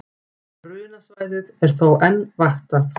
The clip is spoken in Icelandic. Brunasvæðið er þó enn vaktað